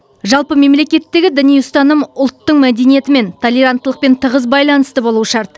жалпы мемлекеттегі діни ұстаным ұлттың мәдениетімен толеранттылықпен тығыз байланысты болуы шарт